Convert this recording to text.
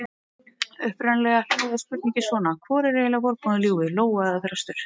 Upprunalega hljóðaði spurningin svona: Hvor er eiginlega vorboðinn ljúfi: Lóa eða þröstur?